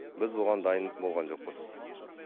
біз оған дайын болған жоқпыз